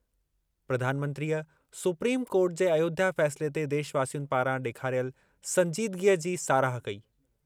प्रधानमंत्रीअ supreme court जे अयोध्या फै़सले ते देशवासियुनि पारां ॾेखारियल संजीदगीअ जी साराह कई।